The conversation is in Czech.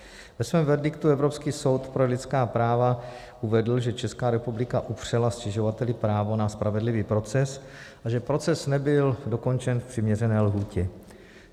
Ve svém verdiktu Evropský soud pro lidská práva uvedl, že Česká republika upřela stěžovateli právo na spravedlivý proces a že proces nebyl dokončen v přiměřené lhůtě.